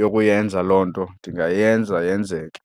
yokuyenza loo nto, ndingayenza yenzeke.